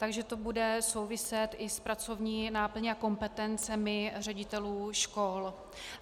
Takže to bude souviset i s pracovní náplní a kompetencemi ředitelů škol.